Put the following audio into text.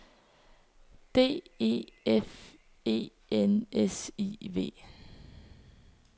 D E F E N S I V